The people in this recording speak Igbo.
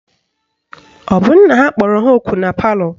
Ọ bụ nna ya kpọrọ ha ọkụ na palọ?